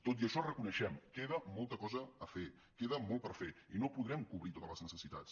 tot i això ho reconeixem queda molta cosa a fer queda molt per fer i no podrem cobrir totes les necessitats